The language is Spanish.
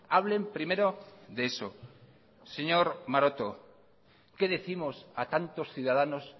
hablen primero de eso señor maroto qué décimos a tantos ciudadanos